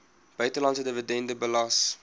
buitelandse dividende belas